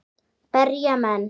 Berja menn?